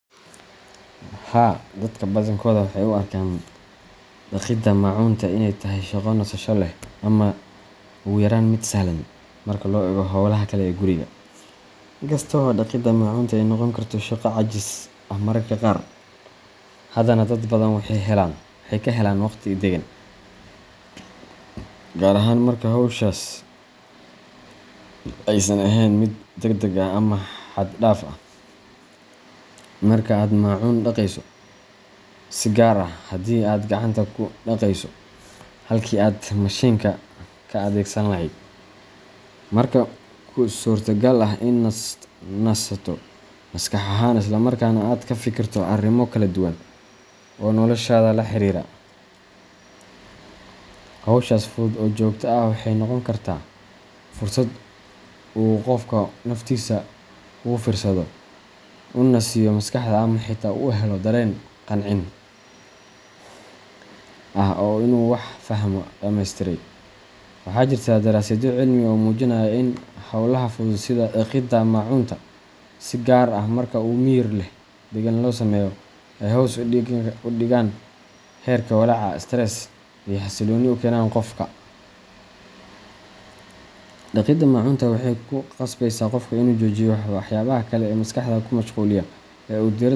Haa, dadka badankooda waxay u arkaan dhaqidda maacuunta inay tahay shaqo nasasho leh ama ugu yaraan mid sahlan marka loo eego hawlaha kale ee guriga. In kasta oo dhaqidda maacuunta ay noqon karto shaqo caajis ah mararka qaar, haddana dad badan waxay ka helaan waqti deggan, gaar ahaan marka hawshaasi aysan ahayn mid degdeg ah ama xad dhaaf ah. Marka aad maacuun dhaqayso, si gaar ah haddii aad gacanta ku dhaqayso halkii aad mashiinka ka adeegsan lahayd, waxaa kuu suurtagal ah in aad nasato maskax ahaan, isla markaana aad ka fikirto arrimo kala duwan oo noloshaada la xiriira. Hawshaas fudud ee joogtada ah waxay noqon kartaa fursad uu qofku naftiisa ugu fiirsado, u nasiyo maskaxda, ama xitaa u helo dareen qancin ah oo ah inuu wax dhammaystiray. Waxaa jirta daraasadyo cilmi ah oo muujinaya in hawlaha fudud sida dhaqidda maacuunta, si gaar ah marka si miyir leh oo deggan loo sameeyo, ay hoos u dhigaan heerka walaaca stress iyo xasilooni u keenaan qofka. Dhaqidda maacuunta waxay ku qasbeysaa qofka inuu joojiyo waxyaabaha kale ee maskaxda ku mashquulinaya oo uu diiradda.